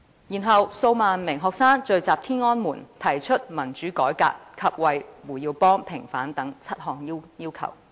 然後，數萬名學生又聚集於天安門廣場，提出民主改革及為胡耀邦平反等7項要求。